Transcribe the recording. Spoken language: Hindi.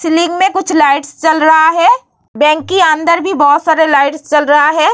सीलिंग में कुछ लाइट्स जल रहा है बैंक के अंदर भी बहुत सारे लाइट्स जल रहा है।